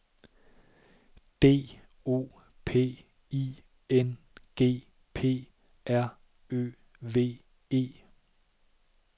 D O P I N G P R Ø V E